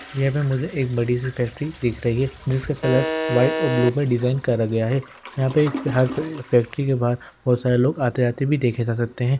यहाँ पे मुझे एक बड़ी सी फैक्ट्री दिख रही है जिसका कलर व्हाइट और ब्लू में डिज़ाइन करा गया है। यहां पे फैक्ट्री के बाहर बहोत सारे लोग आते जाते भी देखे जा सकते हैं।